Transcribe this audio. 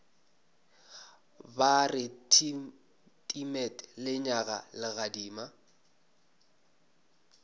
ba re timet lenyaga legadima